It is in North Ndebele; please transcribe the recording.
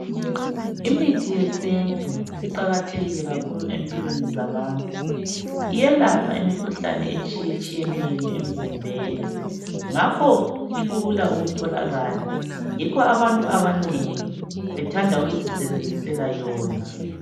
Imithi yesintu iqakathekile kakhulu empilweni zabantu. Iyelapha imikhuhlane etshiyetshiyeneyo emzimbeni. Ngakho ilula ukutholakala. Yikho abantu abanengi, bethanda ukuzisebenzisela yona.